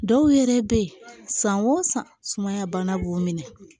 Dɔw yɛrɛ bɛ yen san o san sumaya bana b'u minɛ